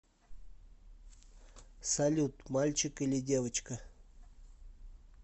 салют мальчик или девочка